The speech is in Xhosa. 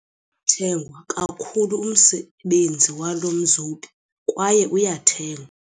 Uyathengwa kakhulu umsebenzi walo mzobi kwaye uyathengwa.